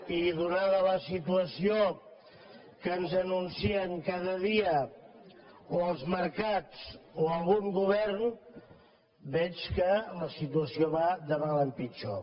i donada la situació que ens anuncien cada dia o els mercats o algun govern veig que la situació va de mal en pitjor